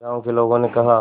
गांव के लोगों ने कहा